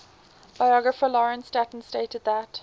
biographer lawrence sutin stated that